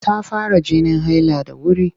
Ta fara jinin haila da wuri.